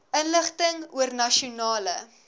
inligting oor nasionale